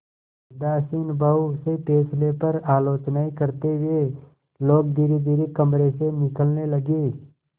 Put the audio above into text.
उदासीन भाव से फैसले पर आलोचनाऍं करते हुए लोग धीरेधीरे कमरे से निकलने लगे